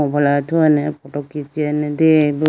phone athuwane photo khichiyane deyayibo.